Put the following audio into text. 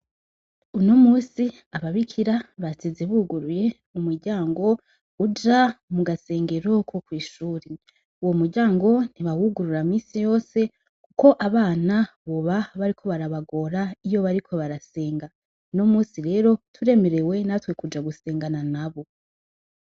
Uno musi ababikira basize buguruye umuryango uja mu gasengero ko kw'ishure. Uwo muryango ntibawugurura misi yose kuko abana boba bariko barabagora iyo bariko barasenga. Uno musi rero turemerewe natwe kuja gusengana nabo.